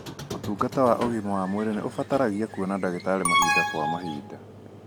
ũtungata wa ũgima wa mwĩrĩ nĩ ũbataragia kuona ndagĩtarĩ mahinda kwa mahinda.